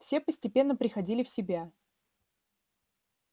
все постепенно приходили в себя